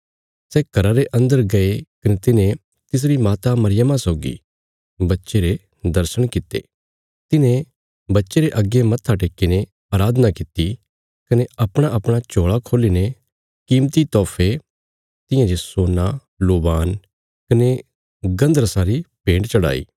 सै घरा रे अन्दर गये कने तिन्हे तिसरी माता मरियमा सौगी बच्चे रे दर्शण कित्ते तिन्हे बच्चे रे अग्गे मत्था टेक्कीने अराधना कित्ती कने अपणाअपणा झोल़ा खोल्ली ने कीमती तोहफे तियां जे सोना लोबान कने गन्धरसा मुर्र री भेन्ट चढ़ाई